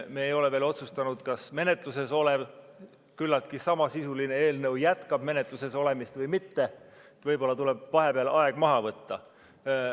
Me ei ole veel otsustanud, kas menetluses olev küllaltki samasisuline eelnõu jätkab menetluses olemist või mitte, võib-olla tuleb vahepeal aeg maha võtta.